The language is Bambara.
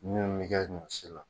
minnu bi kɛ ɲɔ si la